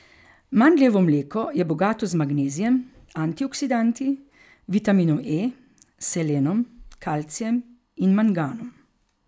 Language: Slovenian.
Mandljevo mleko je bogato z magnezijem, antioksidanti, vitaminom E, selenom, kalcijem in manganom.